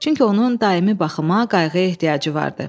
Çünki onun daimi baxıma, qayğıya ehtiyacı vardı.